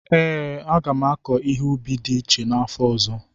ee, a ga m akọ ihe ubi dị iche n'afọ ọzọ.